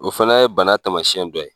O fana ye bana tamasiyɛn dɔ ye